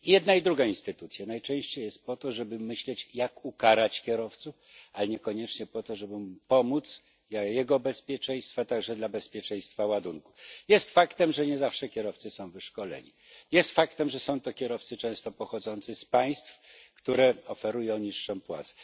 Jedna i druga instytucja najczęściej jest po to, żeby myśleć, jak ukarać kierowców, ale niekoniecznie po to, żeby im pomóc dla ich bezpieczeństwa, także dla bezpieczeństwa ładunku. Jest faktem, że nie zawsze kierowcy są wyszkoleni, jest faktem, że są to kierowcy często pochodzący z państw, które oferują niższą płacę.